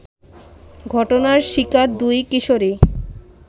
ঘটনার শিকার দুই কিশোরী